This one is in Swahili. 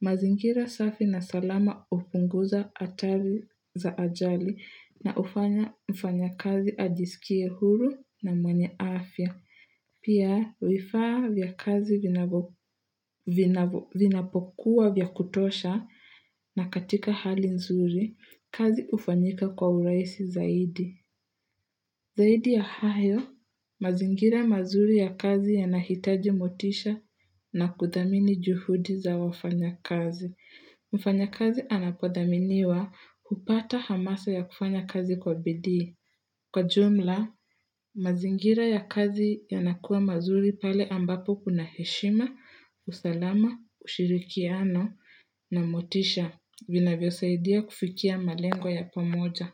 Mazingira safi na salama upunguza hatari za ajali na hufanya mfanyakazi ajisikie huru na mwenye afya. Pia, vifaa vya kazi vinapokuwa vya kutosha, na katika hali nzuri, kazi ufanyika kwa urahisi zaidi. Zaidi ya hayo, mazingira mazuri ya kazi yanahitaji motisha na kudhamini juhudi za wafanya kazi. Mfanyakazi anapodhaminiwa hupata hamasa ya kufanya kazi kwa bidii. Kwa jumla, mazingira ya kazi yanakuwa mazuri pale ambapo kuna heshima, usalama, ushirikiano na motisha. Vinavyosaidia kufikia malengo ya pamoja.